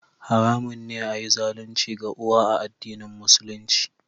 Haramun ne a yi zalunci ga uwa a addinin Musulunci